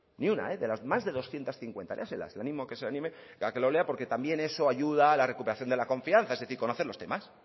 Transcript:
ni una de las más de doscientos cincuenta léaselas le animo que se anime a que lo lea porque también eso ayuda a la recuperación de la confianza es decir conoce los temas